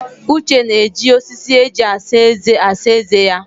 Uche na-eji osisi eji asa eze asa eze ya.